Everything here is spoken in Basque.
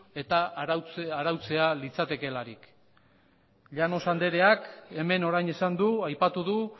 eta arautzea litzatekeelarik llanos andreak hemen orain esan du aipatu du